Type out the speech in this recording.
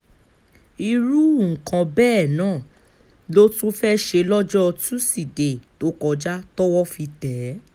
irú nǹkan bẹ́ẹ̀ náà ló tún fẹ́ẹ́ ṣe lọ́jọ́ tusidee tó kọjá tọwọ́ fi tẹ̀ ẹ́